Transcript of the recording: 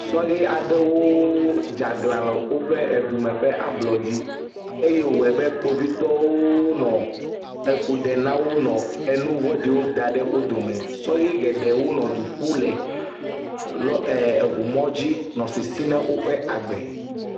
Sɔle aɖewoo dzaglã le oƒe edume ƒe ablɔdzi eye wɔɛbe kpovitɔwoo nɔ efu ɖe nawonɔ enu vɔɖiwo daɖe wo dome, sɔhe geɖewo nɔ eduƒu le eʋu mɔdzi nɔ sisi na woƒe agbe.